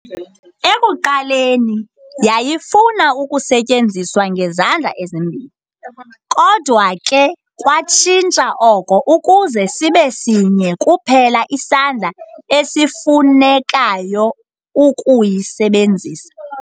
Ekuqaleni, yayifuna ukusetyenziswa ngezandla ezimbini, kodwa ke kwatshintsha oko ukuze sibe sinye kuphela isandla esifunekayo ukuyisebenzisa.